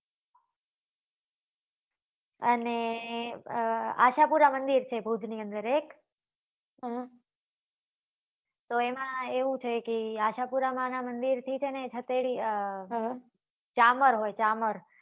અને અ આશાપુરા મંદિર છે ભુજ ની અંદર એક હમ તો એમાં એવું છે કે આશાપુરા આ નાં મંદિર થી છે ને છતેલી ચામર હોય ચામર